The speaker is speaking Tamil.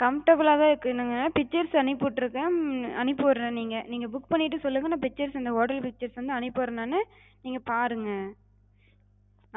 comfortable லாதா இருக்குங்க. pictures அனுப்பி விட்ருக்கே, உம் அனுப்பி விட்றே நீங்க நீங்க book பண்ணிட்டு சொல்லுங்க, நா pictures அந்த hotel pictures வந்து அனுப்பி விட்றே நானு, நீங்க பாருங்க.